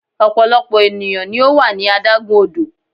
ọpọlọpọ eniyan ni o wa ní adágún odò